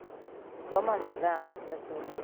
Koma mathaa matatũ